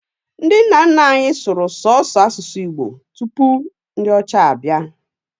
Ndi nna nna anyi sụrụ sọsọ asusu igbo tụpụ ndi ọcha bia.